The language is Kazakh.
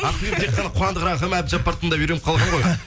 ақбибі тек қана қуандық рахым әбдіжаппарды тыңдап үйреніп қалған ғой